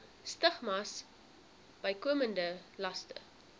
stigmas bykomende laste